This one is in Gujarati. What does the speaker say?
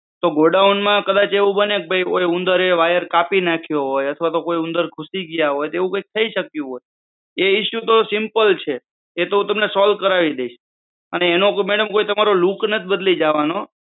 ગોડાઉનમાં એવું બને કે કદાચ ઉંદરે wire કાપી નાયખા હોય અથવા તો લો ઉંદર ઘુસી ગયા હોય તો થઇ શક્યું હોય એ ઇસુ તો simple છે એ તો હું તમને solve કરાવી દઈશ. અને એનો madam કોઈ તમારો look નથી બદલી જવાનો